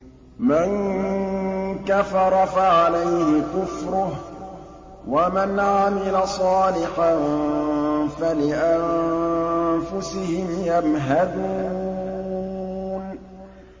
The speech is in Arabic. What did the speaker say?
مَن كَفَرَ فَعَلَيْهِ كُفْرُهُ ۖ وَمَنْ عَمِلَ صَالِحًا فَلِأَنفُسِهِمْ يَمْهَدُونَ